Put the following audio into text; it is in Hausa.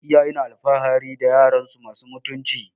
Iyaye na alfahari da yaransu masu mutunci